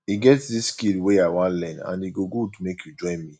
e get dis skill wey i wan learn and e go good make you join me